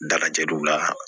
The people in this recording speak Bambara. Dagajɛdugu la